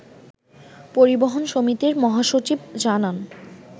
পরিবহন সমিতির মহাসচিব জানান